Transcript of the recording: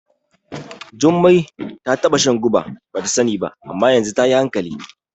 Jumai ta taɓa shan guba bata sani ba, amma yanzu tayi hankali.